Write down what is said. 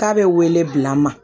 K'a bɛ wele bila n ma